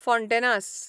Fontainhas